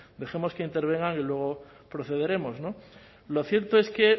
dejemos que intervengan y luego procederemos lo cierto es que